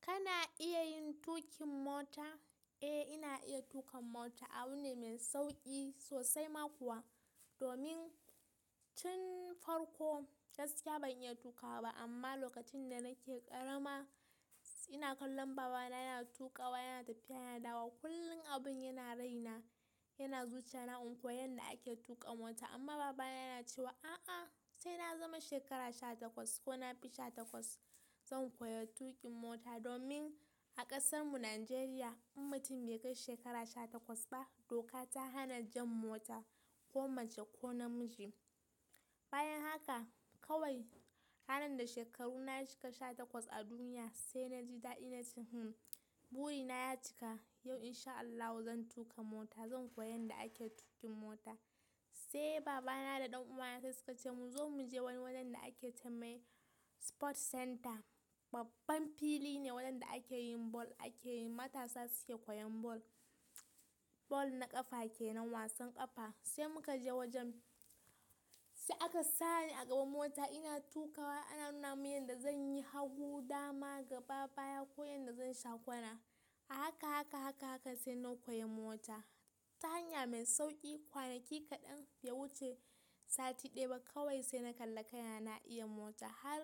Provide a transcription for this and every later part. Kana iya yin tuƙin mota? Eh, ina iya tuƙa mota. Abu ne mai sauƙi sosai ma kuwa. Domin tun farko gaskiya ban iya tuƙawa ba amma lokacin da nake ƙarama ina kallon baba na yana tuƙawa, yana tafiya, yana dawo. Kullum abun yana raina, yana zuciya na in koyi yadda ake tuƙa mota amma baba na yana cewa a'a sai na zama shekara sha takwas ko na bi sha takwas zan koya tuƙin mota. Domin a ƙasar mu Nijeriya in mutum bai kai shekara sha takwas ba doka ta hana jan mota ko mace ko namiji. Bayan haka kawai ranar da shekaru na cika sha takwas a duniya sai naji dadi na ce hmm buri na ya cika yau in sha Allahu zan tuƙa mota, zan koyi yadda ake tuƙin mota. Sai baba na da ɗan uwa na sai suka ce mu zo mu je wani wajen da ake ce mai Sport Center. Babban fili ne wajen da akeyin ball, akeyin matasa suke koyan ball. Ball na ƙafa kenan wasan ƙafa. Sai muka je wajen sai aka sa ni a gaban mota ina tuƙawa ana nuna min yadda zan yi hagu, dama, gaba baya ko yadda zan shakwana. A haka haka haka haka sai na koyi mota. Ta hanya mai sauƙi kwanaki kaɗan bai wuce sati ɗaya ba kawai sai na kalla kai na, ina iya mota. Har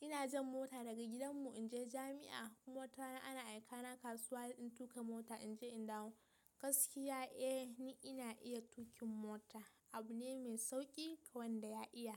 ina jan mota daga gidan mu in je jami'a. Kuma wata rana ana aika na kasuwa in tuƙa mota in je in dawo. Gaskiya eh ni ina iya tuƙin mota. Abu ne mai sauƙi ga wanda ya iya.